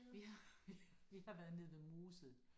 Vi vi vi har været nede ved Mosel